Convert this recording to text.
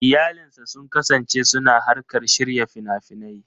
Iyalinsa sun kasance suna harkar shirya fina-finai.